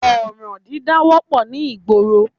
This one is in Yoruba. Ọ̀ràn dídá wọ́pọ̀ ní ìgboro